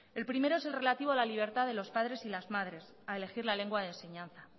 el primero es el relativo a la libertad de los padres y las madres a elegir la lengua de enseñanza